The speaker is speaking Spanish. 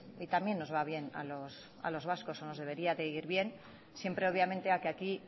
y también nos va bien a los vascos o nos debería de ir bien siempre obviamente a que aquí